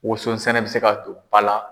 Woson sɛnɛ bɛ se ka don ba la.